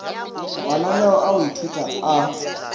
mananeo a go ithuta a